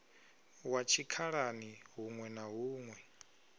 wa tshikhalani huṋwe na huṋwe